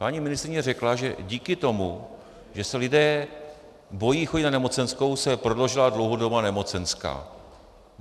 Paní ministryně řekla, že díky tomu, že se lidé bojí chodit na nemocenskou, se prodloužila dlouhodobá nemocenská.